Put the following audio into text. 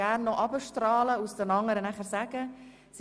Vielen Dank für Ihren Besuch und einen schönen Tag!